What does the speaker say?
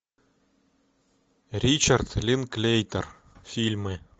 ричард линклейтер фильмы